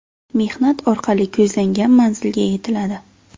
Mehnat orqali ko‘zlangan manzilga yetiladi”.